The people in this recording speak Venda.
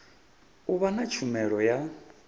u vha na tshumelo ya